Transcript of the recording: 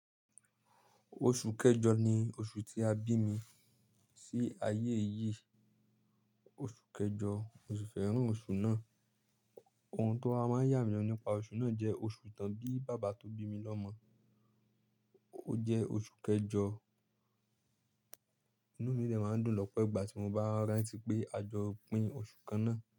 Oṣù kẹjọ ni oṣù tí a bí mi sí ayé yìí. Oṣù kẹjọ, mo sì fẹ́ràn oṣù náà. Ohun tó wa máa ń yà mí lenu nípa oṣù náà jẹ́ oṣù tán bí bàbá tó bí mi lọmọ. Ó jẹ́ oṣù kẹjọ, inú mi dẹ́ máa ń dùn lọ́pẹ́ ìgbà tí mo bá rántí pé a jọ pín oṣù kan náà.